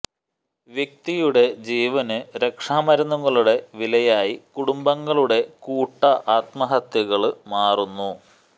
വ്യക്തിയുടെ ജീവന് രക്ഷാ മരുന്നുകളുടെ വിലയായി കുടുംബങ്ങളുടെ കൂട്ട ആത്മഹത്യകള് മാറുന്നു